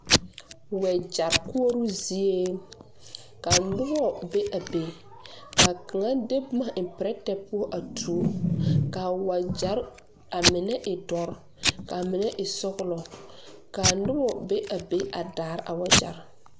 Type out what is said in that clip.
Wejeri koɔro zeɛ ka nuba be a be ka kanga de buma a en pɛretɛ puo a tuo ka wajeri ka menne e dɔri ka menne e sɔglo kaa nuba be a be a daare a wɔjeri.